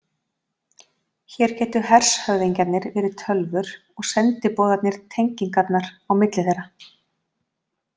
Hér gætu hershöfðingjarnir verið tölvur og sendiboðarnir tengingarnar á milli þeirra.